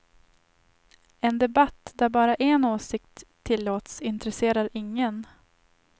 En debatt där bara en åsikt tillåts intresserar ingen.